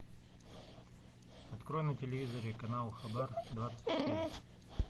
открой на телевизоре канал хабар двадцать четыре